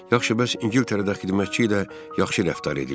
Yaxşı, bəs İngiltərədə xidmətçi ilə yaxşı rəftar edirlər?